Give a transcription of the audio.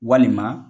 Walima